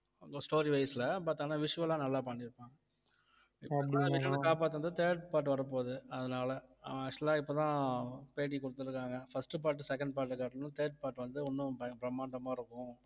story wise ல but ஆனா visual ஆ நல்லா பண்ணிருப்பாங்க third part வரப்போகுது அதனால அவன் actual ஆ இப்பதான் பேட்டி கொடுத்திருக்காங்க first part, second part அ காட்டிலும் third part வந்து இன்னும் ப~ பிரம்மாண்டமா இருக்கும்